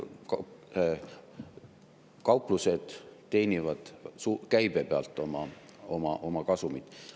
Kauplused teenivad käibe pealt oma kasumit.